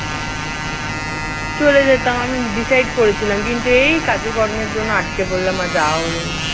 চলে যেতাম আমি decide করেছিলাম। কিন্তু এই কাজেকর্মের জন্য আটকে পড়লাম। আর যাওয়া হলো না